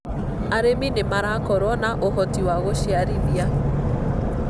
arĩmi nĩ marakorwo na ũhoti wa gũciarithia